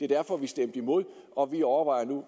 derfor vi stemte imod og vi overvejer nu